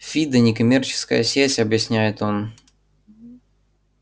фидо некоммерческая сеть объясняет он